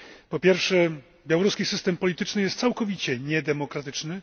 Po pierwsze białoruski system polityczny jest całkowicie niedemokratyczny.